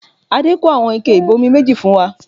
Adé kó àwọn ike ibomi méjì fún wa